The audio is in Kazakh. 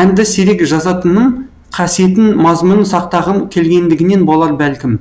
әнді сирек жазатыным қасиетін мазмұнын сақтағым келгендігінен болар бәлкім